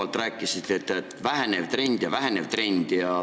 Te rääkisite korduvalt, et vähenev trend ja vähenev trend.